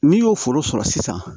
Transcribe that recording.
N'i y'o foro sɔrɔ sisan